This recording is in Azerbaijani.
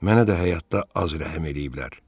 Mənə də həyatda az rəhm eləyiblər.